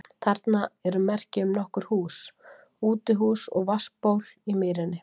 Þarna eru merki um nokkur hús, útihús og vatnsból í mýrinni.